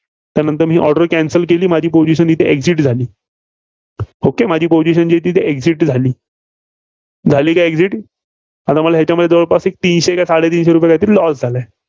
तर नंतर मी order cancel केली, माझी position येथे exit झाली. okay माझी position exit झाली. झाली का exit आता मला हेच्यामध्ये जवळपास एक तीनशे का साडेतीनशे रुपये काही तरी loss झाले.